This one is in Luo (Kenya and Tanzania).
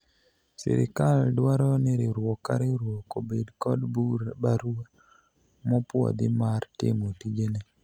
sirikal dwaro ni riwruok ka riwruok obed kod barua mopwodhi mar timo tijene